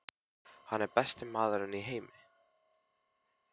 Hann er besti maður í heimi.